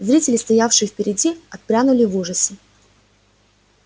зрители стоявшие впереди отпрянули в ужасе